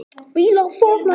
Björg mælti milli berja